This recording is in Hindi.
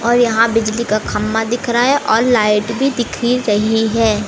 और यहां बिजली का खम्मा दिख रहा है और लाइट भी दिख ही रही है।